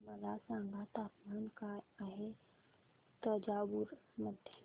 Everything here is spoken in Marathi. मला सांगा तापमान काय आहे तंजावूर मध्ये